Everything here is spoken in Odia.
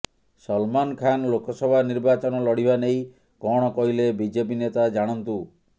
ସଲମାନ ଖାନ ଲୋକସଭା ନିର୍ବାଚନ ଲଢିବା ନେଇ କଣ କହିଲେ ବିଜେପି ନେତା ଜାଣନ୍ତୁ